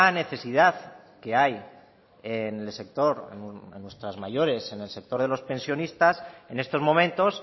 necesidad que hay en el sector en nuestras mayores en el sector de los pensionistas en estos momentos